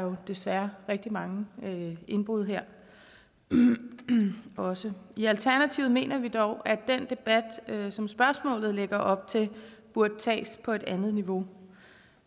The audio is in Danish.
jo desværre rigtig mange indbrud her også i alternativet mener vi dog at den debat som spørgsmålet lægger op til burde tages på et andet niveau